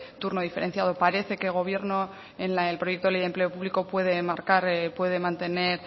turno diferenciado parece que el gobierno en el proyecto de ley de empleo público puede enmarcar puede mantener